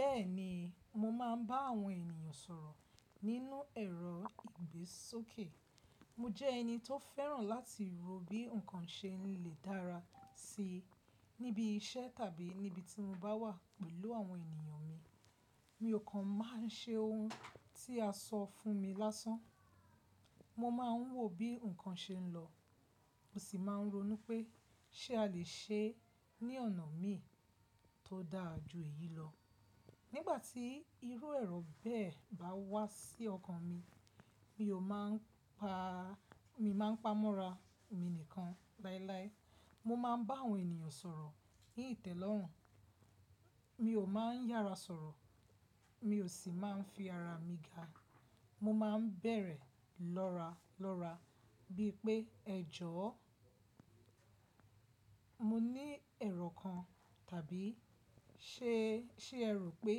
Bẹ́ẹ̀ni, mo máa ń bá àwọn ènìyàn sọ̀rọ̀ nínú ẹ̀rọ ìgbésókè. Mo jẹ́ ẹni tó fẹ́ràn láti rò bí ǹkan ṣe ń lè dára síi níbi iṣẹ́ tàbí níbi tí mo bá wà pẹ̀lú àwọn ènìyàn mi. Mi ò kan máa ń ṣe ohun tí a sọ fún mi lásán. Mo máa ń wò bí ǹkan ṣe ń lọ, mo sì máa ń ronú pé ṣé a lè ṣe ní ọ̀nà mi tó dára ju èyí lọ. Nígbà tí irú ẹ̀rọ bẹ́ẹ̀ bá wá sí ọkàn mi, mi ò máa ń pa, mi máa ń pamọ́ ra èmi nìkan láéláé. Mo máa ń bá àwọn ènìyàn sọ̀rọ̀ ǹitẹ́lọ́rùn, mi ò máa ń yára sọ̀rọ̀, mi ò sì máa ń fi ara mi ga. Mo máa ń bẹ̀rẹ̀ lọ́ra lọ́ra bí pé ẹjọ́ ọ́, mo ní ẹ̀rọ kan tàbí ṣé, ṣé ẹ rò pé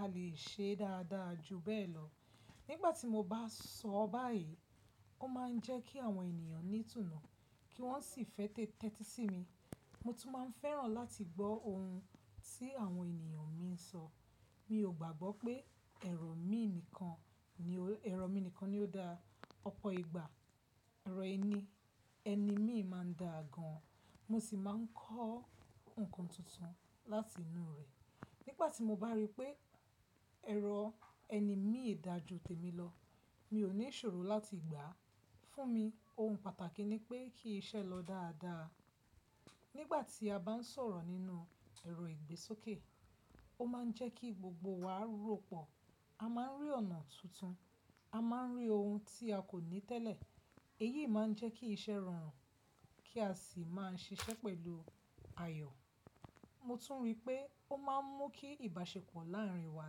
a lè ṣe dára dára ju bẹ́ẹ̀ lọ. Nígbà tí mo bá sọ báyìí, ó máa ń jẹ́ kí àwọn ènìyàn ní ìtùnù kí wọ́n sì fẹ́ tè ti sí mi. Mo tún máa ń fẹ́ràn láti gbọ́ ohun tí àwọn ènìyàn mi ń sọ. Mi ò gbàgbọ́ pé ẹ̀rọ mi nìkan ni, ẹ̀rọ mi nìkan ni ó dáa. Ọ̀pọ̀ ìgbà ẹ̀rọ ẹni, ẹni mi máa ń da gan, mo sì máa ń kọ́ ǹkan tuntun láti inú rẹ̀. Nígbà tí mo bá rí pé ẹ̀rọ ẹni mi dà ju tèmi lọ, mi ò ní ìṣòro láti gbà. Fún mi ohun pàtàkì ni pé kí iṣẹ́ lọ dáadáa. Nígbà tí a bá ń sọ̀rọ̀ nínú ẹ̀rọ ìgbésókè, ó máa ń jẹ́ kí gbogbo wa ròpọ̀. A máa ń rí ọ̀nà tuntun, a máa ń rí ohun tí a kò ní tẹ́lẹ̀. Èyí máa ń jẹ́ kí iṣẹ́ rọrùn kí a sì máa ń ṣiṣẹ́ pẹ̀lú ayọ̀. Mo tún rí pé ó máa ń mú kí ìbáṣepọ̀ láàárín wa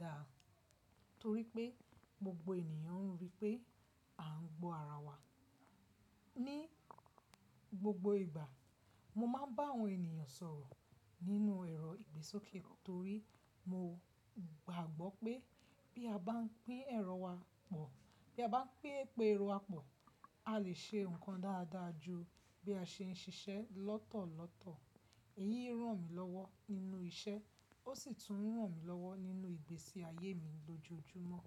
dáa torí pé gbogbo ènìyàn rí pé à ń gbọ́ ara wa. Ni gbogbo ìgbà, mo máa ń bá àwọn ènìyàn sọ̀rọ̀ nínú ẹ̀rọ ìgbésókè torí mo gbàgbọ́ pé bí a bá ń pín ẹ̀rọ wa pọ̀, bí a bá pín ẹ̀rọ wa pọ̀, a lè ṣe ǹkan dáadáa ju bí a ṣe ń ṣiṣẹ́ lọ́tọ̀ọ̀tọ̀. Èyí ń ràn mí lọ́wọ́ nínú iṣẹ́, ó sì tún ń ràn mí lọ́wọ́ nínú ìgbésí ayé mi lójoojúmọ́.